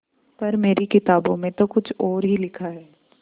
पर मेरी किताबों में तो कुछ और ही लिखा है